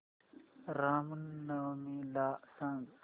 राम नवमी मला सांग